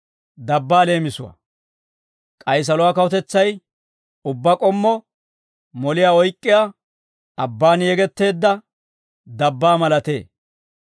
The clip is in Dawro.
«K'ay saluwaa kawutetsay ubbaa k'ommo moliyaa oyk'k'iyaa, abbaan yegetteedda dabbaa malatee.